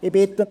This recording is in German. Ich bitte …